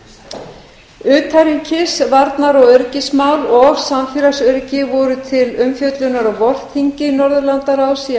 nybakk utanríkis varnar og öryggismál og samfélagsöryggi voru til umfjöllunar á vorþingi norðurlandaráðs í